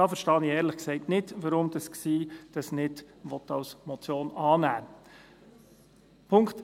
Da verstehe ich ehrlich gesagt nicht, weshalb die GSI dies nicht als Motion annehmen will.